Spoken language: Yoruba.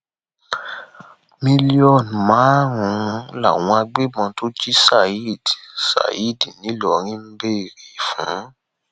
mílíọnù márùnún làwọn agbébọn tó jí saheed saheed ńìlọrin ń béèrè fún